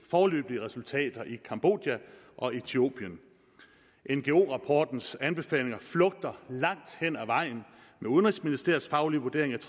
foreløbige resultater i cambodja og ethiopien ngo rapportens anbefalinger flugter langt hen ad vejen med udenrigsministeriets faglige vurdering af